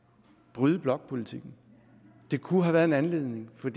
bryde blokpolitikken det kunne have været en anledning for